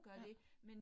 Ja